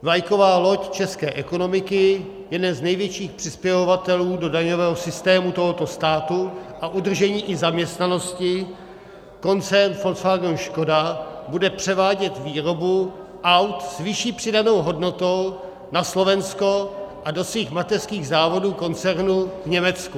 Vlajková loď české ekonomiky, jeden z největších přispěvatelů do daňového systému tohoto státu a udržení i zaměstnanosti, koncern Volkswagen Škoda, bude převádět výrobu aut s vyšší přidanou hodnotou na Slovensko a do svých mateřských závodů koncernu v Německu.